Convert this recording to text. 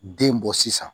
Den bɔ sisan